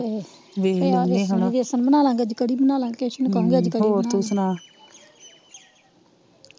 ਅੱਜ ਵੈਸਾਂ ਬਨਾਲਾਗੇ ਅੱਜ ਕੜੀ ਬਨਾਲਾਗੇ ਕੈਸੁ ਨੂੰ ਕਹੁਗੀ ਅੱਜ ਕੜੀ ਬਣਾ ਲੈਣੇ